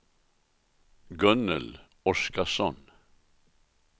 Gunnel Oskarsson